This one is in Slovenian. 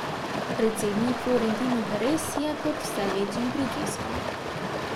Predsednik Florentino Perez je pod vse večjim pritiskom.